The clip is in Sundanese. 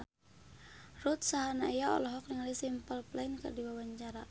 Ruth Sahanaya olohok ningali Simple Plan keur diwawancara